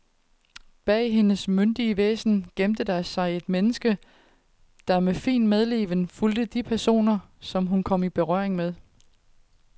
Bag hendes myndige væsen gemte der sig et menneske, der med fin medleven fulgte de personer, hun kom i berøring med.